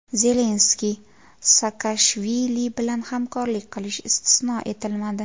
Zelenskiy Saakashvili bilan hamkorlik qilishi istisno etilmadi.